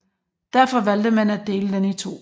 Derfor valgte man at dele den i to